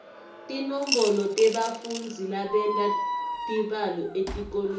tinombolo tebafundzi labenta tibalo etikolweni